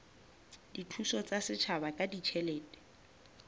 dithuso tsa setjhaba ka ditjhelete